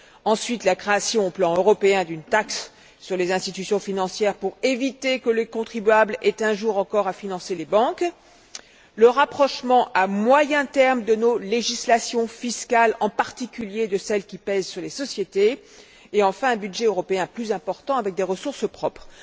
En outre, la création, au plan européen, d'une taxe sur les institutions financières pour éviter que le contribuable ait un jour encore à financer les banques, le rapprochement à moyen terme de nos législations fiscales, en particulier de celles qui pèsent sur les sociétés et, enfin, un budget européen plus important avec des ressources propres.